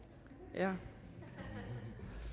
jeg